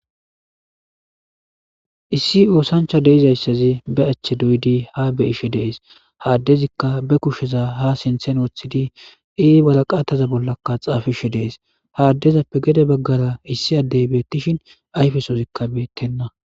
issi oosancha deizayssazi be achche doydi ha be ishe dees haaddezikka be kusheza ha sinthen woththidi ii bata qaataza bollakka xaafishe dees haaddezappe gede baggara issi addey beettishin ayfesozikka beettenna